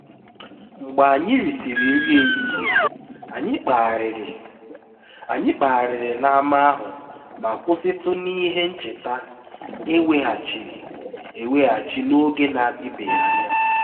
mgbe anyị risịrị nri ehihie anyị kpagharịrị anyị kpagharịrị n’ámá ahụ ma kwụsịtụ n’ihe ncheta e weghachiri eweghachi n’oge na-adịbeghị anya